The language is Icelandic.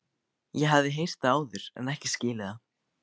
Ég hafði heyrt það áður en ekki skilið það.